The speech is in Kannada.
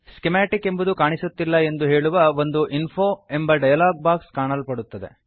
ಸ್ಕಿಮಾಟಿಕ್ ಸ್ಕಿಮ್ಯಾಟಿಕ್ ಎಂಬುದು ಕಾಣಿಸುತ್ತಿಲ್ಲ ಎಂದು ಹೇಳುವ ಒಂದು ಇನ್ಫೋ ಎಂಬ ಡಯಲಾಗ್ ಬಾಕ್ಸ್ ಕಾಣಲ್ಪಡುತ್ತದೆ